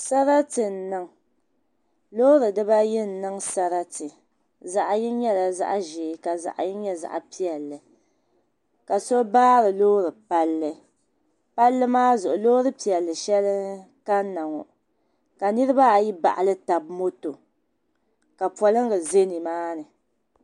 Sarati n niŋ loori diba yi n niŋ sarati, zaɣi yini nyala zaɣizɛɛ ka zaɣi yini nyɛ zaɣi piɛli kaso baari loori palli. palli maa zuɣu loori piɛli shɛli kanna.ŋɔ ka nirib ayi baɣili tab moto ka polliŋga zɛ nimmaa ni